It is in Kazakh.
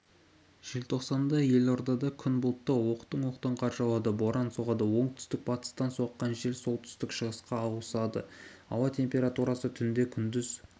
желтоқсанда елордада күн бұлтты оқтын-оқтын қар жауады боран соғады оңтүстік-батыстан соққан жел солтүстік-шығысқа ауысады ауа температурасы түнде күндіз